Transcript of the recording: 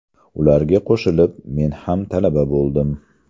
Ularga qo‘shilib men ham talaba bo‘ldim.